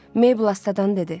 Mebul astadan dedi.